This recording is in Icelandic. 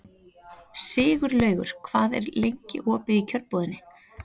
Sigurlaugur, hvað er lengi opið í Kjörbúðinni?